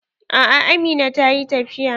A'a amina ta yi tafiya.